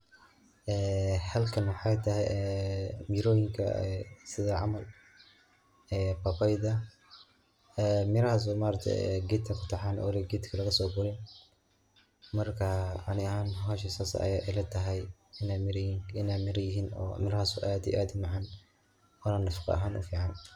Ee halkan wxaytahay miroyinka sida camal ee babayda ee mirahas ee ma aragte gedka kutaxan gadka lagaso gurin marka ani ahan bahasha sas aya ilatahay inay mira yihin oo mirahas ad iyo ad u macan ona nafaqa ahan u fican.